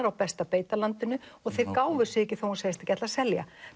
á besta beitarlandinu þeir gáfu sig ekki þó hún segðist ekki ætla að selja